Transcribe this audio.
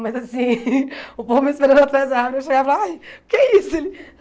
Mas assim, o povo me esperando atrás da árvore, eu chegava ai, o que é isso? Ele